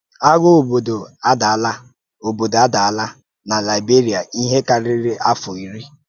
Àgha òbòdò àdààlà òbòdò àdààlà na Liberia íhè kàrírí àfọ̀ ìrì.